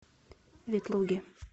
ветлуге